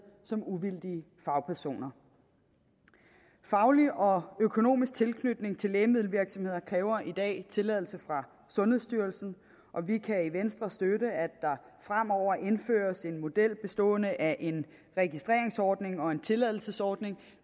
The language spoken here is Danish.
som uvildige fagpersoner faglig og økonomisk tilknytning til lægemiddelvirksomheder kræver i dag tilladelse fra sundhedsstyrelsen og vi kan i venstre støtte at der fremover indføres en model bestående af en registreringsordning og en tilladelsesordning